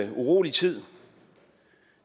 en urolig tid